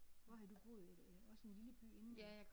Hvor har du boet et øh også en lille by inden